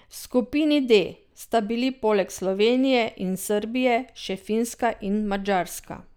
V skupini D sta bili poleg Slovenije in Srbije še Finska in Madžarska.